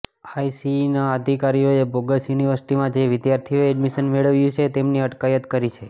આઇસીઇના અધિકારીઓએ બોગસ યુનિવર્સિટીમાં જે વિદ્યાર્થીઓએ એડમિશન મેળવ્યું છે તેમની અટકાયત કરી છે